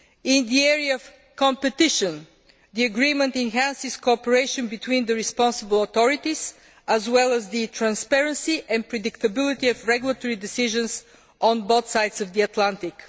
In the area of competition, the agreement enhances cooperation between the responsible authorities as well as the transparency and predictability of regulatory decisions on both sides of the Atlantic.